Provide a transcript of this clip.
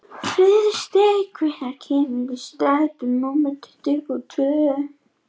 Friðsteinn, hvenær kemur strætó númer tuttugu og tvö?